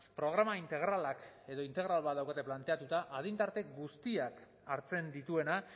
programa integralak edo integratu bat daukate planteatuta adin tarte guztiak hartzen dituena